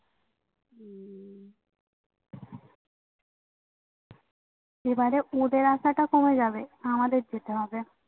এবারে ওদের আসাটা কমে যাবে আমাদের যেতে হবে